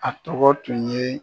A tɔgɔ tun ye